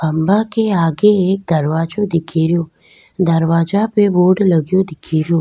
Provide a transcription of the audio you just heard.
खम्भा के आगे एक दरवाजों दिखे रो दरवाजा पे बोर्ड लगो दिख रो।